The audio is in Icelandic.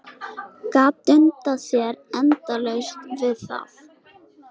Gat dundað sér endalaust við það.